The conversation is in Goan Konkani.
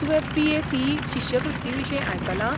तुवें पी. ए. सी. ई. शिश्यवृत्तींविशीं आयकलां?